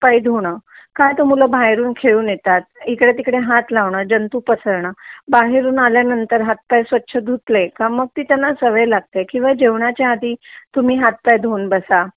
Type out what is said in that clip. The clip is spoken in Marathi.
पाय धुण का तर मूल बाहेरून खेळून येतात इकडे तिकडे हात लावण्य जंतु पसरणं बाहेरून आल्या नंतर हात पाय स्वच्छ धुतले का मग त्यांना ती सवय लागते कीव जेवणाच्या आदि तुम्ही हात पाय धुवून बसा